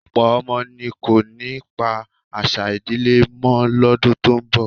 Ọ̀pọ̀ ọmọ ni kò ní pa àṣà ìdílé mọ́ lọ́dún tó ń bọ̀